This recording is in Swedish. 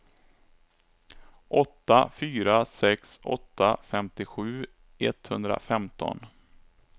åtta fyra sex åtta femtiosju etthundrafemton